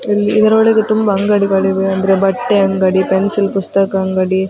ಇಲ್ಲಿ ಇದರೊಳಗೆ ತುಂಬ ಅಂಗಡಿಗಳಿವೆ ಅಂದ್ರೆ ಬಟ್ಟೆ ಅಂಗಡಿ ‌ ಪೆನ್ಸಿಲ್ ಪುಸ್ತಕ ಅಂಗಡಿ .